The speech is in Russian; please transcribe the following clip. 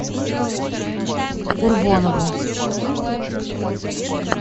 курбонову